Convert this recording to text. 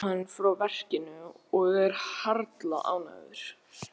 Svo lítur hann upp frá verkinu og er harla ánægður.